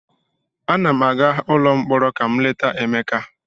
Ana m aga ụlọ mkpọrọ ileta Emeka.